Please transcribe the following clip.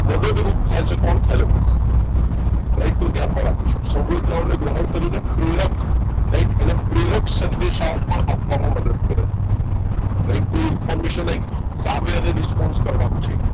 મદદરૂપ થાય છે કોણ thalamus right તો ધ્યાનમાં રાખીશું સંવેદનાઓને ગ્રહણ કરીને પ્રેરક right એને પ્રેરક સંદેશાઓ પણ આપવામાં મદદ કરે છે right તો કોઈ information આવી સામે એને response કરવાનું છે